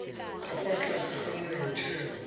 ka fa tlase ga molaotheo